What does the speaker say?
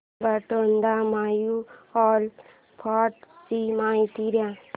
Baroda mutual fund ची माहिती दे